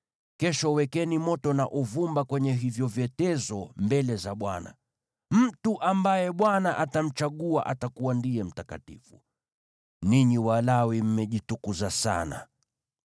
kesho wekeni moto na uvumba kwenye hivyo vyetezo mbele za Bwana . Mtu ambaye Bwana atamchagua atakuwa ndiye mtakatifu. Ninyi Walawi mmejitukuza sana!”